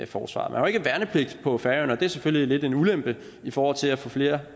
forsvaret man har ikke værnepligt på færøerne og det er selvfølgelig lidt en ulempe i forhold til at få flere